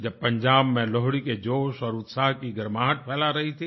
जब पंजाब में लोहड़ी जोश और उत्साह की गर्माहट फ़ैला रही थीं